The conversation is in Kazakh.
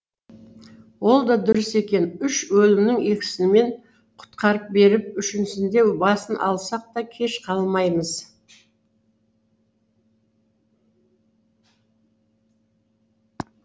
ол да дұрыс екен үш өлімнің екісімен құтқарып беріп үшіншісінде басын алсақ та кеш қалмаймыз